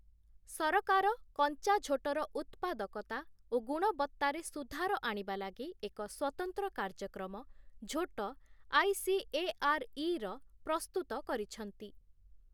ସରକାର କଞ୍ଚା ଝୋଟର ଉତ୍ପାଦକତା ଓ ଗୁଣବତ୍ତାରେ ସୁଧାର ଆଣିବା ଲାଗି ଏକ ସ୍ୱତନ୍ତ୍ର କାର୍ଯ୍ୟକ୍ରମ ଝୋଟ ଆଇ.ସି.ଏ.ଆର୍.ଇ. ର ପ୍ରସ୍ତୁତ କରିଛନ୍ତି ।